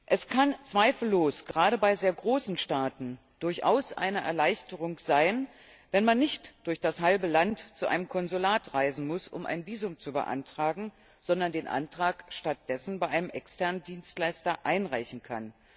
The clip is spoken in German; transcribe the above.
Es kann zweifellos gerade bei sehr großen Staaten durchaus eine Erleichterung sein, wenn man nicht durch das halbe Land zu einem Konsulat reisen muss, um ein Visum zu beantragen, sondern den Antrag stattdessen bei einem externen Dienstleister einreichen kann.